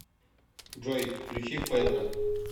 джой включи педро